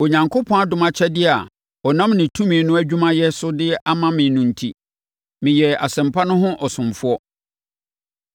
Onyankopɔn adom akyɛdeɛ a ɔnam ne tumi no adwumayɛ so de ama me no enti, me yɛɛ asɛmpa no ho ɔsomfoɔ.